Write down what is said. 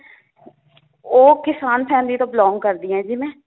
ਉਹ ਕਿਸਾਨ family ਤੋਂ belong ਕਰਦੀ ਹਾਂ ਜੀ ਮੈ